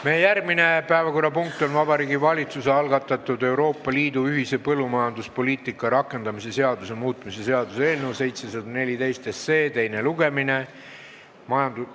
Meie järgmine päevakorrapunkt on Vabariigi Valitsuse algatatud Euroopa Liidu ühise põllumajanduspoliitika rakendamise seaduse muutmise seaduse eelnõu teine lugemine.